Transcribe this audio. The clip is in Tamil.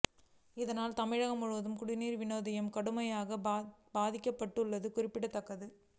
இதனால் தமிழகம் முழுவதும் குடிநீர் விநியோகம் கடுமையாகப் பாதிக்கப்பட்டுள்ளது குறிப்பிடத்தக்கது